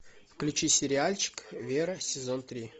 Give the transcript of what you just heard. включи сериальчик вера сезон три